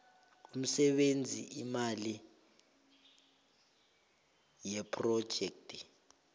imisebenzi imali yephrojekhthi